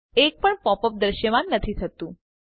એક પણ pop up દ્રશ્યમાન નથી થયું